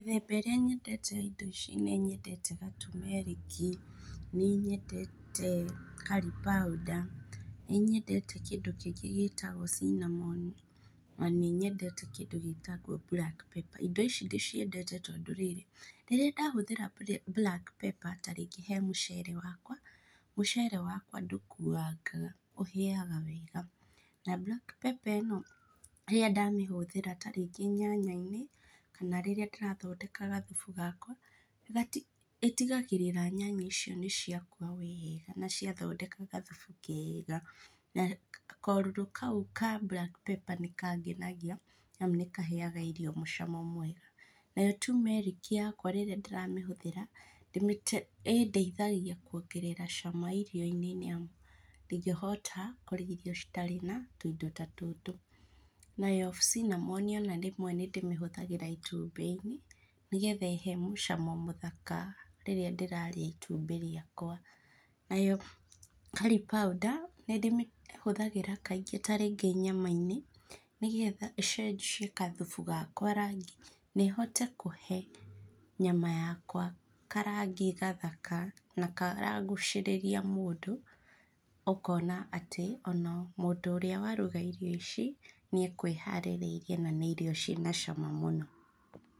Mĩthemba ĩrĩa nyendete ya indo ici nĩnyendete gatumeriki, nĩ nyendete curry powder, nĩ nyendete kĩndũ kĩngĩ gĩtagwo cinamoni na nĩnyendete kĩndũ gĩtagwo black pepper. Ĩndo ici ndĩciendete tondũ rĩrĩ, rĩrĩa ndahũthĩra black pepper rĩngĩ he mũcere wakwa, mũcere wakwa ndũkuangaga, ũhĩga wega na mburaki pĩpa ĩno rĩrĩa nadmĩhũthĩra ta rĩngĩ nyanya-inĩ kana rĩrĩa ndĩrathondeka gathubu gakwa, ĩtigagĩrĩra nyanya icio nĩ ciakua wega na ciathondeka gathubu kega na korũrũ kau ka black pepper nĩ kangenagia tondũ nĩ kaheaga irio mũcamo mwega. Nayo tiumeriki yakwa rĩrĩa ndĩramĩhuthĩra, ĩndeithagia kuongerera cama irio-inĩ nĩamu dingĩhota kũrĩa irio citarĩ na tũindo ta tũtũ. Nayo cinamoni ona rĩmwe nĩndĩhũthagĩra ona itumbĩ-inĩ nĩgetha ĩhe mũcamo mũthaka rĩrĩra ndĩrarĩa itumbĩ rĩkwa. Nayo curry powder nĩndĩmĩhũthagĩra kaingĩ ta rĩngĩ nyama-inĩ nĩ getha ĩcenjie gathubu gakwa rangi na ĩhote kũhe nyama yakwa karangi gathaka na karagucĩrĩria mũndũ ũkona atĩ ona mũndũ ũrĩa waruga irio ici nĩekwĩharĩrĩirie na nĩ irio ciĩna cama mũno.